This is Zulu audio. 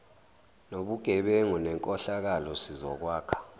nobugebengu nenkohlakalo sizokwakha